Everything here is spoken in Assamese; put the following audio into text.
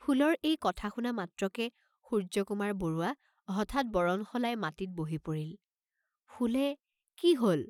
..ফুলৰ এই কথা শুনা মাত্ৰকে সূৰ্য্যকুমাৰ বৰুৱা হঠাৎ বৰণ সলাই মাটিত বহি পৰিল, ফুলে "কি হল!